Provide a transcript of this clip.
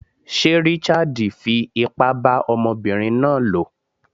Sé Richard fi ipá bá ọmọbinrin náà lò?